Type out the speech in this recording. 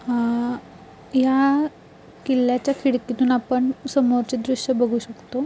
अह या किल्लाच्या खिडकीतन आपण समोरचे दृश्य बगु शकतो.